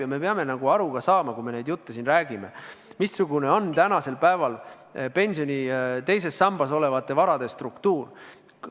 Ja me peame ka aru saama, kui me neid jutte siin räägime, missugune on tänasel päeval pensioni teises sambas olevate varade struktuur.